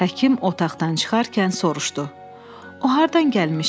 Həkim otaqdan çıxarkən soruşdu: "O hardan gəlmişdi?"